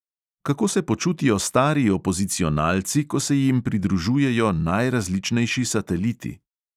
Kako se počutijo stari opozicionalci, ko se jim pridružujejo najrazličnejši sateliti?